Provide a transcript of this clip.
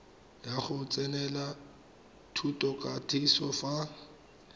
ya go tsenela thutokatiso fa